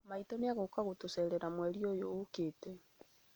Maitũ nĩ egũka gũtũcerera mweri ũyũ ũkĩte